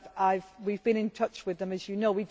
We have been in touch with them as you know.